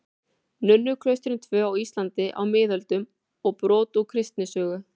Nunnuklaustrin tvö á Íslandi á miðöldum og brot úr kristnisögu.